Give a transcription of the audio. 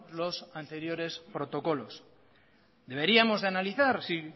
los anteriores protocolos deberíamos de analizar si